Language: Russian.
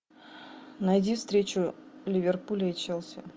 найди встречу ливерпуля и челси